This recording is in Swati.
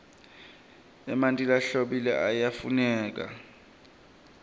emanti lahlobile ayafuneka